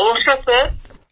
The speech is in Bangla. গৌরব নমস্কার স্যার